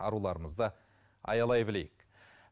аруларымызды аялай білейік